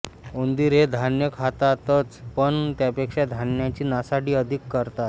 उंदीर हे धान्य खातातच पण त्यापेक्षा धान्याची नासाडी अधिक करतात